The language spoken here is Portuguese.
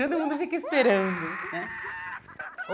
Todo mundo fica esperando né.